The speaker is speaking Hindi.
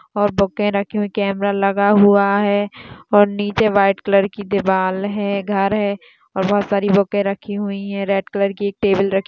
और बूके रखे हुए है कॅमरा लगा हुआ है और नीचे व्हाइट कलर की दीवारहै घर है और बहुत सारे बूके रखी हुई है रेड कलर की एक टेबल रखी--